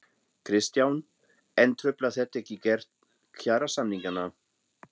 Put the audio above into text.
Kristján: En truflar þetta gerð kjarasamninganna?